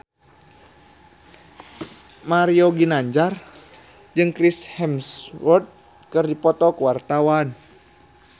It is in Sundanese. Mario Ginanjar jeung Chris Hemsworth keur dipoto ku wartawan